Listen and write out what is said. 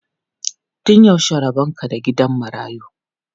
Tun yaushe rabon ka da gidan marayu?